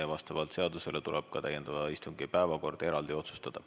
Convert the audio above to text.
Ja vastavalt seadusele tuleb ka täiendava istungi päevakord eraldi otsustada.